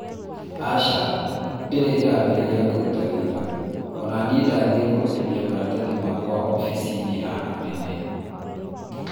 aca, ndirĩ ĩrambĩrĩria kũruta wĩra, ona niĩ ndathiĩ kũrutithia maratathi makwa ofisini ya anene